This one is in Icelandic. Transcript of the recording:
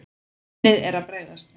Minnið er að bregðast mér.